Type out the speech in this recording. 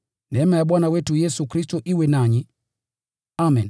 Neema ya Bwana wetu Yesu Kristo iwe nanyi. Amen.